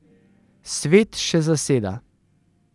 Svet še zaseda.